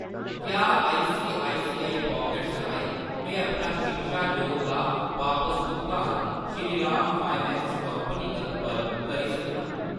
क्या ICICI pockets राहें में अपना शिक्षा लोन दा बापस भुगतान श्रीराम फाइनैंस कंपनी पर करी सकनां ?